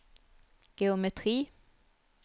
geometri